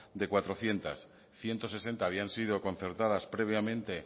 de cuatrocientos ciento sesenta habían sido concertadas previamente